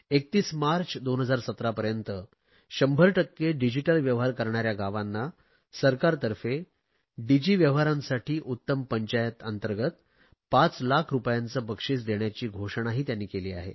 31 March 2017 पर्यंत 100 टक्के digital व्यवहार करणाऱ्या गावांना सरकारतर्फे डिजी व्यवहारांसाठी उत्तम पंचायत अंतर्गंत पाच लाख रुपयांचे बक्षिस देण्याची घोषणाही त्यांनी केली आहे